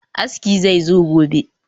Aski zai zo gobe